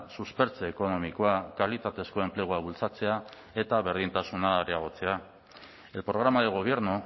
suspertze ekonomikoa kalitatezko enplegua bultzatzea eta berdintasuna areagotzea el programa de gobierno